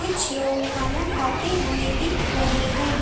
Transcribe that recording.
कुछ लोग खाना खाते हुए दिख रहे हैं।